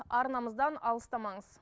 арнамыздан алыстамаңыз